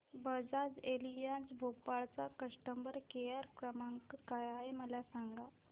Bajaj Allianz Bhopal चा customer care क्रमांक काय आहे मला सांगा